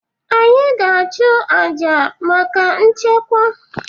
Anyị ga-achụ aja maka nchekwa.